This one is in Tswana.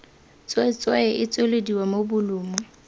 tswetswe e tswelediwa mo bolumu